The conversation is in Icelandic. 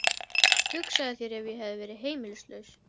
Hugsaðu þér ef ég hefði verið heimilislaus.